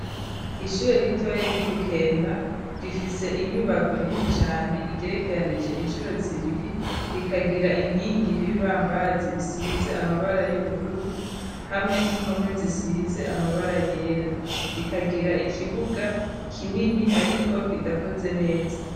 Ishure ritoya ry'ibukemba rifise inyubako nini cane igerekeranije inshuro zibiri rikagira inkingi n'ibibambazi bisize amabara y'ubururu hamwe n'impome zisize amabara yera rikagira ikibuga kinini ariko kidakoze neza.